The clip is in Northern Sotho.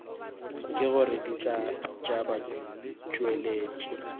ke gore dihlaa tša batšweletši